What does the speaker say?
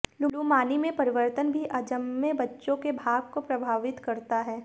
लुमानी में परिवर्तन भी अजन्मे बच्चों के भाग्य को प्रभावित करता है